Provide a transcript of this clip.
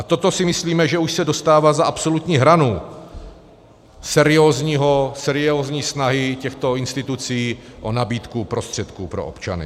A toto si myslíme, že už se dostává za absolutní hranu seriózní snahy těchto institucí o nabídku prostředků pro občany.